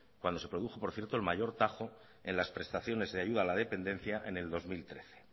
cuando se produjo por cierto el mayor tajo en las prestaciones de ayuda a la dependencia en el dos mil trece